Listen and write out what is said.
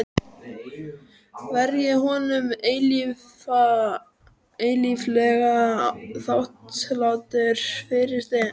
Verð ég honum eilíflega þakklátur fyrir það.